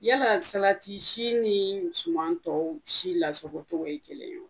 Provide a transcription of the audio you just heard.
Yala salati si ni suman tɔw si lasagocogo ye kelen ye